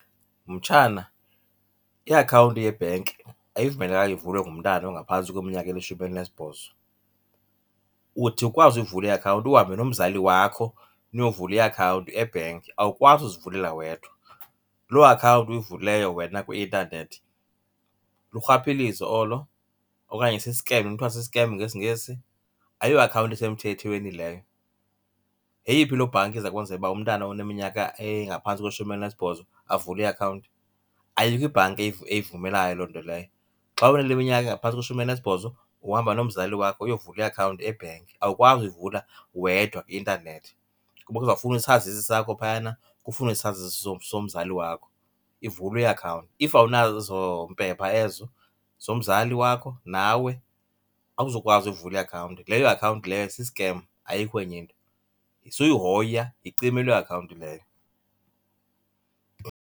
Mtshana, iakhawunti yebhenki ayivumelekanga ivulwe ngumntana ongaphantsi kweminyaka elishumi elinesibhozo. Uthi ukwazi uyivula iakhawunti uhambe nomzali wakho niyovula iakhawunti ebhenki, awukwazi uzivulela wedwa. Loo akhawunti uyivulileyo wena kwi-intanethi lurhwaphilizo olo okanye sisikem, kuthiwa si-scam ngesiNgesi, ayiyo iakhawunti esemthethweni leyo. Yeyiphi loo bhanki izakwenza uba umntana oneminyaka engaphantsi kweshumi elinesibhozo avule iakhawunti? Ayikho ibhanki eyivumelayo loo nto leyo. Xa uneminyaka engaphantsi kweshumi elinesibhozo uhamba nomzali wakho uyovula iakhawunti ebhenki, awukwazi uyivula wedwa kwi-intanethi kuba kuzawufunwa isazisi sakho phayana, kufunwe isazisi somzali wakho, ivulwe iakhawunti. If awunazo ezo mpepha ezo zomzali wakho nawe, awuzukwazi uvula iakhawunti. Leyo akhawunti leyo sisikem ayikho enye into, suyihoya yicime loo akhawunti leyo.